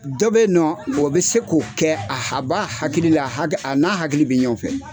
Dɔ be nɔ o bɛ se k'o kɛ, a ha b'a hakili la, hag a n'a hakili bi ɲɔɔn fɛ.